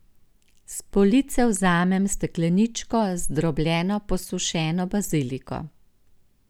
S police vzamem stekleničko z zdrobljeno posušeno baziliko.